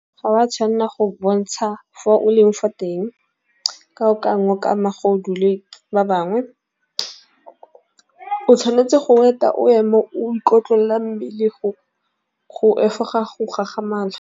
Ga wa tshwanna go bontsha fo o leng fa teng ka o ka ngwe magodu le ba bangwe. O tshwanetse go eta o ema o itlotlela mmele go efoga go gagamala.